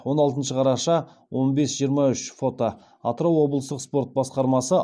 он алтыншы қараша он бес жиырма үш фото атырау облыстық спорт басқармасы